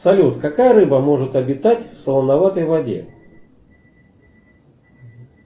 салют какая рыба может обитать в солоноватой воде